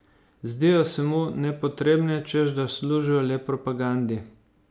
Zdijo se mu nepotrebne, češ da služijo le propagandi.